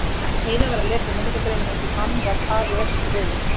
Heiða var að lesa minningargrein um einhvern mann varð afi öskureiður.